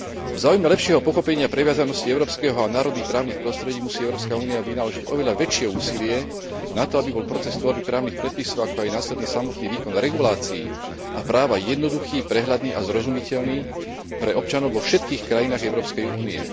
V záujme lepšieho pochopenia previazanosti európskeho a národných právnych prostredí musí Európska únia vynaložiť oveľa väčšie úsilie na to, aby bol proces tvorby právnych predpisov, ako aj následný samotný výkon regulácií a práva jednoduchý, prehľadný a zrozumiteľný pre občanov vo všetkých krajinách Európskej únie.